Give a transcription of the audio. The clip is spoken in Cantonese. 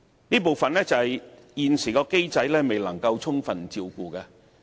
這部分是現行機制未能充分照顧的。